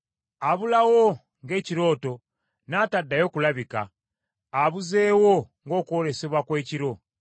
Abulawo ng’ekirooto, n’ataddayo kulabika; abuzeewo ng’okwolesebwa kw’ekiro.